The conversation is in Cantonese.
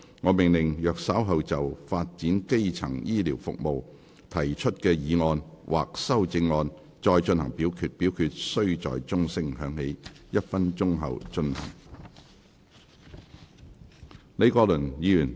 我命令若稍後就"發展基層醫療服務"所提出的議案或修正案再進行點名表決，表決須在鐘聲響起1分鐘後進行。